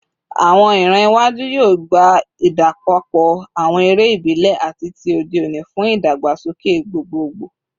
Awọn iran iwaju yoo gba idapọpọ awọn ere ibile ati ti ode oni fun idagbasoke gbogbogbo